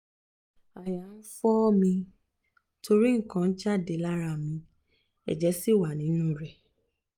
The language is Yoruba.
àyà ń fò mí torí nǹkan jáde lára mi ẹ̀jẹ̀ sì wà nínú rẹ̀